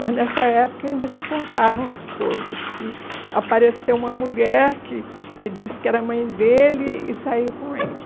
Mas nessa época ainda se contavam as coisas, que apareceu uma mulher que que disse que era mãe dele e saiu com ele.